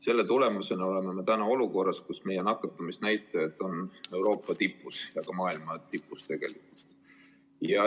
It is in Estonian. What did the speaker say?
Selle tagajärjel oleme täna olukorras, kus meie nakatumisnäitajad on Euroopa tipus ja tegelikult ka maailma tipus.